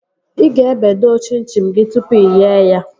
Ị ga-ebe doo chim chim gị tụpụ ighe ya